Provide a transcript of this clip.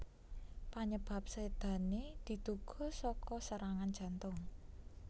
Panyebab sédané diduga saka serangan jantung